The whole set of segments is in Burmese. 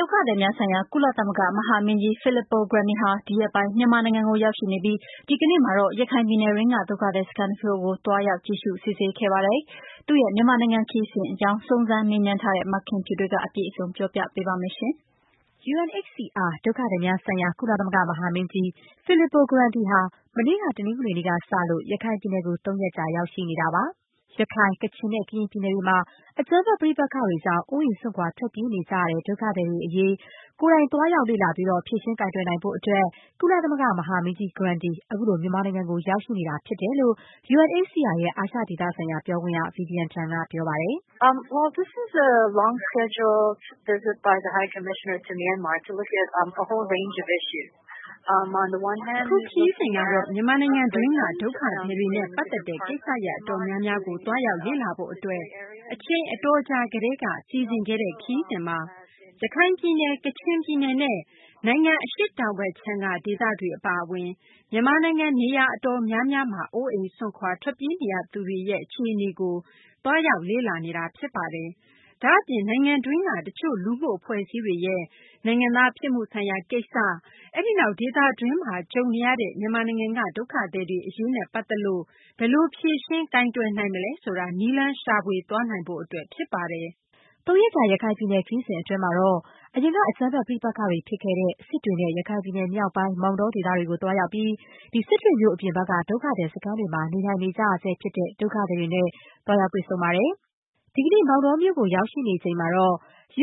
ဒုက္ခသည်များဆိုင်ရာ ကုသလမဂ္ဂ မဟာမင်းကြီး Filippo Grandi ဟာ ဒီရက်ပိုင်း မြန်မာနိုင်ငံကို ရောက်ရှိနေပြီး ဒီကနေ့မှာတော့ ရခိုင်ပြည်နယ်တွင်းက ဒုက္ခသည်စခန်းတချို့ကို သွားရောက် ကြည့်ရှုစစ်ဆေးခဲ့ပါတယ်။ သူ့ရဲ့ မြန်မာနိုင်ငံ ခရီးစဉ်အကြောင်း စုံစမ်းမေးမြန်းထားတဲ့ မခင်ဖြူထွေးက ပြောပြပေးပါမယ်။ UNHCR ဒုက္ခသည်များဆိုင်ရာ ကုသလမဂ္ဂ မဟာမင်းကြီး Filippo Grandi ဟာ မနေ့က တနင်္ဂနွေနေ့ကစလို့ ရခိုင်ပြည်နယ်ကို သုံးရက်ကြာ ရောက်ရှိနေပါတယ်။ ရခိုင်၊ ကချင်နဲ့ ကရင်ပြည်နယ်တွေမှာ အကြမ်းဖက်ပဋိပက္ခတွေကြောင့် အိုးအိမ် စွန့်ခွာ ထွက်ပြေးနေကြ ရတဲ့ ဒုက္ခသည်တွေ အရေး ကိုယ်တိုင် သွားရောက်လေ့လာပြီး ဖြေရှင်းကိုင်တွယ်နိုင်ဖို့အတွက် ကုလသမဂ္ဂမဟာမင်းကြီး Grandi ခုလို မြန်မာနိုင်ငံကို ရောက်ရှိနေတာဖြစ်တယ်လို့ UNHCR ရဲ့ အာရှဒေသဆိုင်ရာ ပြောခွင့်ရ Vivian Tan က ပြောပါတယ်။ “အခုခရီးစဉ်ကတော့ မြန်မာနိုင်ငံတွင်းက ဒုက္ခသည်တွေနဲ့ပတ်သက်တဲ့ ကိစ္စရပ်အတော်များများကို သွားရောက်လေ့လာဖို့အတွက် အချိန်အတော်ကြာ ကတည်းက စီစဉ်ခဲ့တဲ့ ခရီးစဉ်ပါ။ ရခိုင်ပြည်နယ်၊ ကချင်ပြည်နယ် နဲ့ နိုင်ငံ အရှေ့တောင်ဘက်ခြမ်းက ဒေသတွေ အပါအဝင် မြန်မာနိုင်ငံ နေရာ အတော်များများမှာ အိုးအိမ်စွန့်ခွာ ထွက်ပြေးနေရသူတွေရဲ့ အခြေအနေကို သွားရောက်လေ့လာနေတာ ဖြစ်ပါတယ်။ ဒါ့အပြင် နိုင်ငံတွင်းက တချို့ လူမှုအဖွဲ့အစည်းတွေရဲ့ နိုင်ငံသားဖြစ်မှုဆိုင်ရာ ကိစ္စ၊ အဲဒီနောက် ဒေသတွင်းမှာကြုံနေရတဲ့ မြန်မာနိုင်ငံက ဒုက္ခသည်တွေအရေးနဲ့ ပတ်သက်လို့ ဘယ်လိုဖြေရှင်းကိုင်တွယ် နိုင်မလဲ ဆိုတာ နည်းလမ်းရှာဖွေသွားနိုင်ဖို့အတွက် ဖြစ်ပါတယ်။” ရခိုင်ပြည်နယ် ခရီးစဉ်အတွင်းမှာတော့ အရင်က အကြမ်းဖက်ပဋိပက္ခတွေ ဖြစ်ခဲ့တဲ့ စစ်တွေနဲ့ ရခိုင်ပြည်နယ်မြောက်ပိုင်း မောင်တောဒေသ တွေကို သွားရောက်ပြီး စစ်တွေမြို့ အပြင်ဘက်က ဒုက္ခသည်စခန်းတွေမှာ နေထိုင်နေကြရဆဲ ဖြစ်တဲ့ ဒုက္ခသည်တွေနဲ့ တွေ့ဆုံခဲ့ပါတယ်။ ဒီကနေ့ကတော့ မောင်တောမြို့မှာ ရောက်ရှိနေပြီး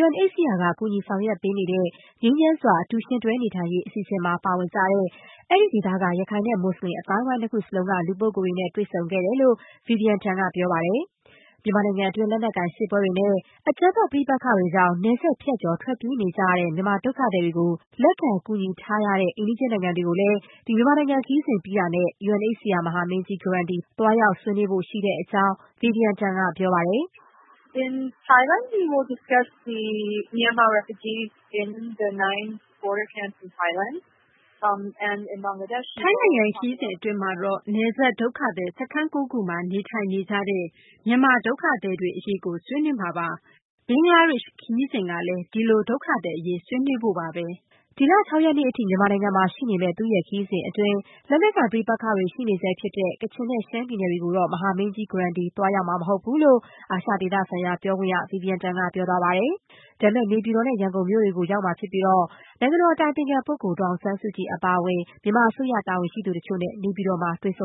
UNHCR က ကူညီဆောင်ရွက်ပေးနေတဲ့ ငြိမ်းချမ်းစွာ အတူယှဉ်တွဲနေထိုင်ရေး အစီအစဉ်မှာ ပါဝင်ကြတဲ့ အဲဒီဒေသက ရခိုင် နဲ့ မူစလင် အသိုင်းအဝိုင်း နှစ်ခုစလုံးက လူပုဂ္ဂိုလ်တွေနဲ့ တွေ့ဆုံခဲ့တယ်လို့ Vivian Tan က ပြောပါတယ်။ မြန်မာနိုင်ငံတွင်း လက်နက်ကိုင်စစ်ပွဲတွေနဲ့ အကြမ်းဖက် ပဋိ့က္ခတွေကြောင့် နယ်စပ်ဖြတ်ကျော် ထွက်ပြေးနေကြရတဲ့ မြန်မာဒုက္ခသည်တွေကို လက်ခံ ကူညီထားတဲ့ အိမ်နီးချင်း နိုင်ငံတွေကိုလည်း မြန်မာနိုင်ငံ ခရီးစဉ်ပြီးတာနဲ့ UNHCR မဟာမင်းကြီး သွားရောက် ဆွေးနွေးဖို့ရှိတဲ့အကြောင်းလည်း Vivian Tan ကပြောပါတယ်။ “ထိုင်းနိုင်ငံ ခရီးစဉ်အတွင်းမှာတော့ နယ်စပ် ဒုက္ခသည် စခန်း ၉ ခုမှာ နေထိုင်နေကြတဲ့ မြန်မာဒုက္ခသည်တွေ အရေးကို ဆွေးနွေးမှာပါ။ ဘင်္ဂလားဒေ့ရှ် ခရီးစဉ်ကလည်း ဒီလို ဒုက္ခသည်အရေး ဆွေးနွေးဖို့ပါပဲ။” ဒီလ ၆ ရက်နေ့အထိ မြန်မာနိုင်ငံမှာ ရှိနေမယ့် သူ့ရဲ့ခရီးစဉ်အတွင်း လက်နက်ကိုင် ပဋိပက္ခတွေ ရှိနေတဲ့ ကချင်နဲ့ ရှမ်းပြည်နယ်တွေကိုတော့ မဟာမင်းကြီး Grandi သွားရောက်မှာ မဟုတ်ဘူးလို့ အာရှဒေသဆိုင်ရာ ပြောခွင့်ရ Vivian Tan က ပြောပါတယ်။ ဒါပေမဲ့ နေပြည်တော် နဲ့ ရန်ကုန်မြို့တွေကို ရောက်မှာ ဖြစ်ပြီး နိုင်ငံတော်အတိုင်ပင်ခံပုဂ္ဂိုလ် ဒေါ်အောင်ဆန်းစုကြည် အပါအဝင် မြန်မာအစိုးရ တာဝန်ရှိသူတချို့နဲ့ နေပြည်တော်မှာ တွေ့ဆုံ